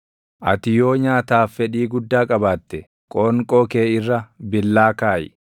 ati yoo nyaataaf fedhii guddaa qabaatte, qoonqoo kee irra billaa kaaʼi.